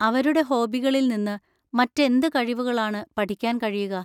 അവരുടെ ഹോബികളിൽ നിന്ന് മറ്റെന്ത് കഴിവുകളാണ് പഠിക്കാൻ കഴിയുക?